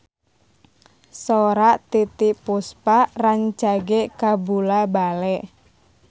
Sora Titiek Puspa rancage kabula-bale